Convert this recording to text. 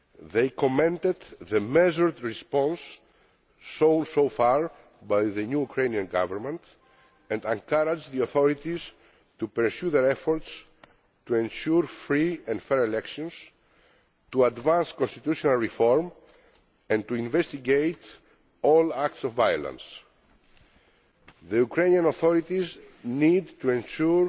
They commended the measured response shown so far by the new Ukrainian government and encouraged the authorities to pursue their efforts to ensure free and fair elections, advance constitutional reform and investigate all acts of violence. The Ukrainian authorities need to ensure